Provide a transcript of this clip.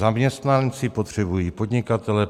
Zaměstnanci potřebují podnikatele.